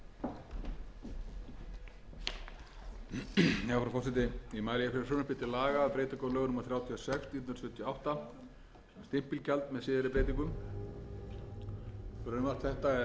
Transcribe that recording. á lögum númer þrjátíu og sex nítján hundruð sjötíu og átta um stimpilgjald með síðari breytingum frumvarp þetta er lagt fram í kjölfar þess að